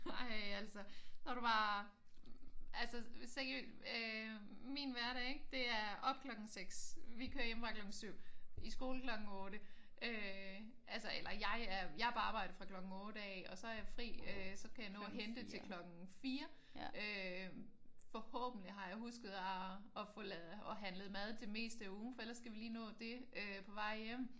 Ej altså. Når du bare altså seriøst øh min hverdag ik? Det er op klokken 6. Vi kører hjemmefra klokken 7. I skole klokken 8 øh altså eller jeg er jeg er på arbejde fra klokken 8 af. Og så har jeg fri øh så kan jeg nå at hente til klokken 4. Forhåbentlig har jeg husket at få lavet at handlet mad til det meste af ugen for ellers skal vi lige nå det øh på vej hjem